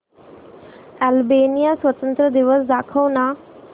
Albania स्वातंत्र्य दिवस दाखव ना